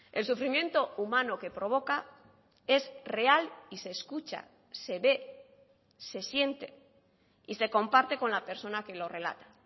el sufrimiento humano que provoca es real y se escucha se ve se siente y se comparte con la persona que lo relata